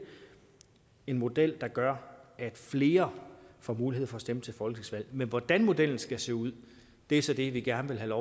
en model der gør at flere får mulighed for at stemme til folketingsvalg men hvordan modellen skal se ud er så det vi gerne vil have